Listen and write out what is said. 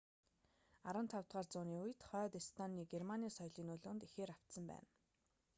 15-р үууны үед хойд эстоны нь германы соёлын нөлөөнд ихээр автсан байсан